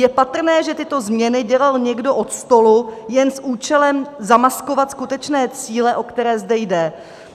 Je patrné, že tyto změny dělal někdo od stolu jen s účelem zamaskovat skutečné cíle, o které zde jde.